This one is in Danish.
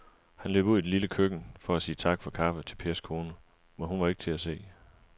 Han løb ud i det lille køkken for at sige tak for kaffe til Pers kone, men hun var ikke til at se.